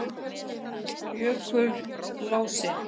Jökulási